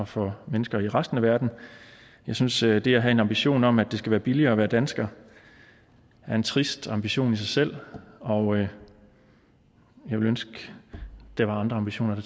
for mennesker i resten af verden jeg synes at det at have en ambition om at det skal være billigere at være dansker er en trist ambition i sig selv og jeg ville ønske der var andre ambitioner